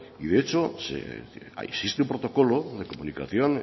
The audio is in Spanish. y de hecho existe un protocolo de comunicación